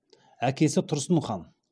әкесі тұрсын хан